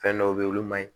Fɛn dɔw be ye olu ma ɲi